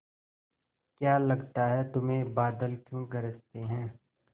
क्या लगता है तुम्हें बादल क्यों गरजते हैं